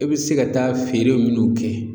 E be se ka taa feere minnu kɛ